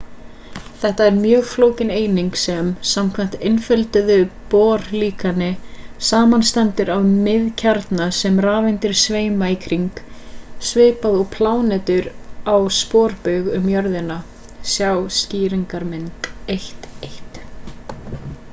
þetta er mjög flókin eining sem samkvæmt einfölduðu bohr-líkani samanstendur af miðkjarna sem rafeindir sveima í kring svipað og plánetur á sporbaug um jörðina sjá skýringarmynd 1.1